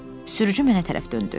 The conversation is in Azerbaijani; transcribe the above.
Sürücü mənə tərəf döndü.